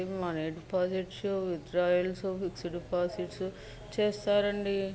Deposits withdrawals fix deposits చేస్తారండి.